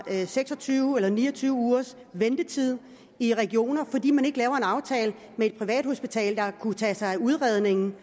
seks og tyve eller ni og tyve ugers ventetid i nogle regioner fordi man ikke har lavet en aftale med et privathospital der kunne tage sig af udredningen